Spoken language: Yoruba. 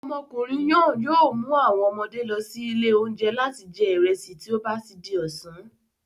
Ọmọkùnrin náà yìí o mu àwọn ọmọdé lọ sí ilé oúnjẹ láti jẹ ìrẹsì tí ó bati di ọ̀sán